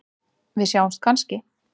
Við sjáumst kannski?